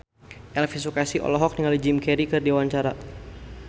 Elvi Sukaesih olohok ningali Jim Carey keur diwawancara